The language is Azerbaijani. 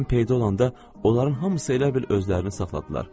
Mən peyda olanda onların hamısı elə bil özlərini saxladılar.